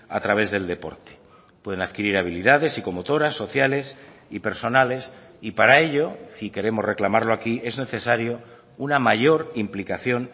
a través del deporte pueden adquirir habilidades psicomotoras sociales y personales y para ello y queremos reclamarlo aquí es necesario una mayor implicación